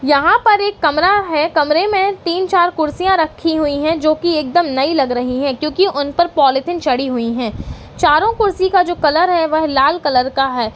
यहाँ पर एक कमरा है कमरे मे तीन चार कुर्सियाँ रखी हुई हैं जो की एकदम नई लग रही हैं क्योंकि उन पर पॉलीथिन चढ़ी हुई हैं चारों कुर्सी का जो कलर है वो लाल कलर है।